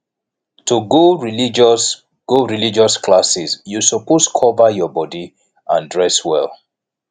to go religious go religious classes you suppose cover your body and dress well